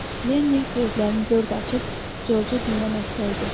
Lenni gözlərini dörd açıb Corcu dinləməkdə idi.